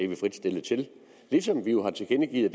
vi frit stillet til ligesom vi jo har tilkendegivet